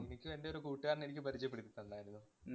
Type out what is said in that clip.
എനിക്കും എന്‍റെ ഒരു കൂട്ടുകാരന്‍ എനിക്ക് പരിചയപ്പെടുത്തി തന്നാരുന്നു.